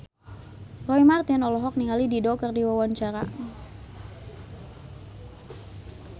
Roy Marten olohok ningali Dido keur diwawancara